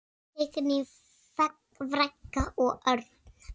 Signý frænka og Örn.